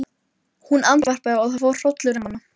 Henni finnst það hafa verið eilífðartími.